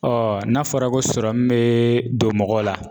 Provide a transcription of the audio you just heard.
n'a fɔra ko sɔrɔmu bɛ don mɔgɔ la